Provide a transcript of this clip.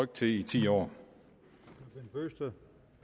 til i ti år år